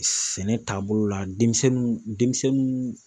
Sɛnɛ taabolo la denmisɛnninw denmisɛnnunw